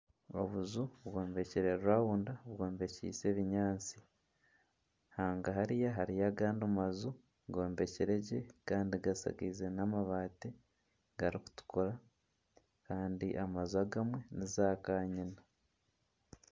Obuju bwombekire rawunda bwombekiise ebinyaatsi. Hanga hariya hariyo agandi maju g'ombekire gye kandi gashakiize n'amabaati garikutukura kandi amaju agamwe ni zakanyina.